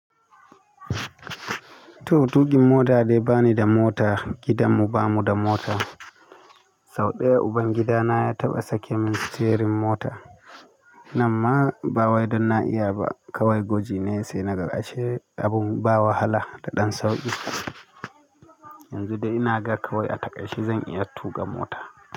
To tuƙin mota dai bani da mota, gidanmu bamu da mota. Sau ɗaya ubangidana ya taɓa sake min sitiyerin mota. Nan ma bawai dan na'iya ba kawai gwaji ne sai naga ashe abun ba wahala da ɗan sauƙi. Yanzu dai ina ga kawai a taƙaice zan iya tuƙa mota.